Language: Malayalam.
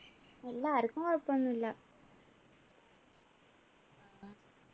ഇല്ല ആരിക്കും കുഴപ്പൊന്നും ഇല്ല